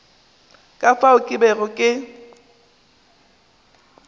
ka fao ke bego ke